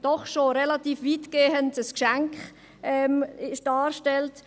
Denn schon so stelle dies relativ weitgehend ein Geschenk dar.